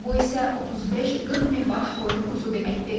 Bu isə 35-40 min baş qoyun quzu deməkdir.